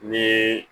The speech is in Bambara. Ni